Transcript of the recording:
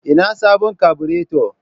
ina sabon kabureto.